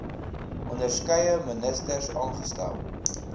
onderskeie ministers aangestel